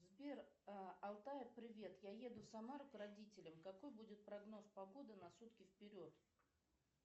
сбер алтаю привет я еду в самару к родителям какой будет прогноз погоды на сутки вперед